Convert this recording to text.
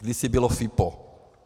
Kdysi bylo FIPO.